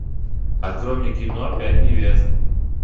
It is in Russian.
открой мне кино пять невест